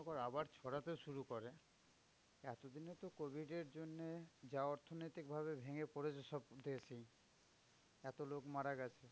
আবার ছড়াতে শুরু করে এতদিনে তো covid এর জন্যে যা অর্থনৈতিক ভাবে ভেঙে পড়েছে সব দেশই। এত লোক মারা গেছে।